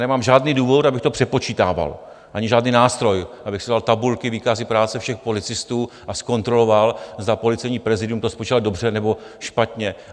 Nemám žádný důvod, abych to přepočítával, ani žádný nástroj, abych si vzal tabulky, výkazy práce všech policistů a zkontroloval, zda policejní prezidium to spočítalo dobře, nebo špatně.